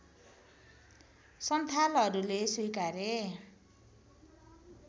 सन्थालहरूले स्वीकारे